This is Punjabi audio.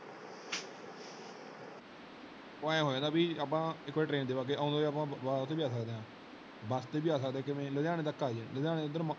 ਉਹ ਐਂ ਹੋਜਾਂਦਾ ਬਾਯੀ ਆਪਾਂ ਇਕ ਵਾਰ train ਤੇ ਬੱਗ ਗਏ ਤੇ ਆਉਂਦੀ ਵਾਰ ਆਪਾਂ ਓਹੀ ਤੇ ਵੀ ਆ ਸਕਦੇ ਆਂ। bus ਤੇ ਵੀ ਆ ਸਕਦੇ ਆ ਕਿਵੇਂ ਲੁਧਿਆਣੇ ਤੱਕ ਅਜੇ, ਲੁਧਿਆਣੇ ਐਡਰ।